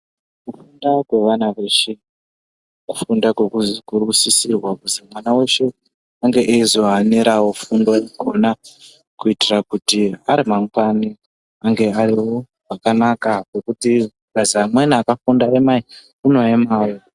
Kufunda kwevana veshe kufunda kunosisirwa kuzi mwana veshe ange eizohaniravo kufundo ikona. Kuitira kuti ari mangwani ange arivo pakanaka pekuti pakazi amweni akafunda emai unoemavo.